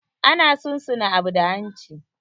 Ana sun suna abu da hanci.